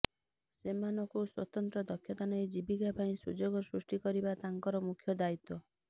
ସେମାନଙ୍କୁ ସ୍ବତନ୍ତ୍ର ଦକ୍ଷତା ଦେଇ ଜୀବୀକା ପାଇଁ ସୁଯୋଗ ସୃଷ୍ଟି କରିବା ତାଙ୍କର ମୁଖ୍ୟ ଦାୟିତ୍ବ